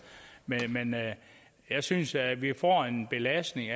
men jeg synes at vi får en belastning